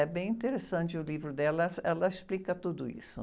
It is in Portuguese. É bem interessante o livro dela, ela explica tudo isso.